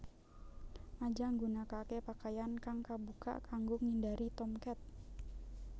Aja nggunakaké pakaian kang kabukak kanggo ngindari Tomcat